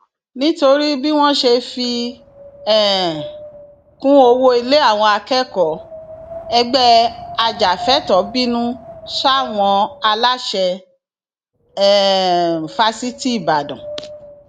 nítorí bí wọn ṣe fi um kún owó ilé àwọn akẹkọọ ẹgbẹ ajàfẹtọọ bínú sáwọn aláṣẹ um fáṣítì ìbàdàn